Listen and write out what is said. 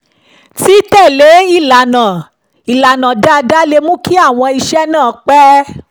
títẹ̀lé ìlànà dáadáa lè mú kí àwọn iṣẹ́ náà pẹ́